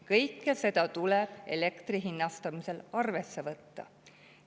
Kõike seda tuleb elektri hinnastamisel arvesse võtta.